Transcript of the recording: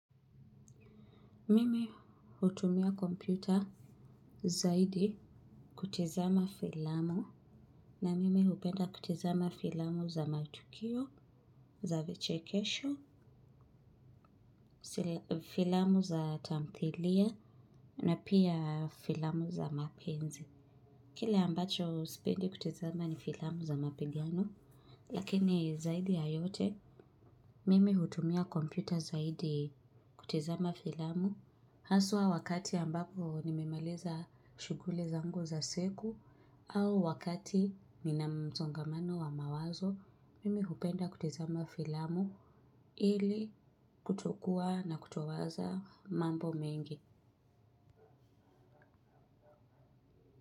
Mimi hutumia kompyuta zaidi kutizama filamu na mimi hupenda kutizama filamu za matukio, za vichekesho, filamu za tamthilia na pia filamu za mapenzi. Kile ambacho sipendi kutizama ni filamu za mapigano, lakini zaidi yayote, mimi hutumia kompyuta zaidi kutizama filamu. Haswa wakati ambapo nimemaliza shughuli zangu za siku au wakati nina msongamano wa mawazo, mimi hupenda kutizama filamu ili kutokua na kutowaza mambo mengi.